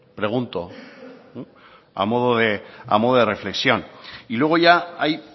pregunto a modo de reflexión y luego ya hay